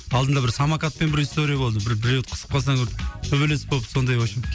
алдында бір самокатпен бір история болды біреуді қысып қалса төбелес болып сондай вообщем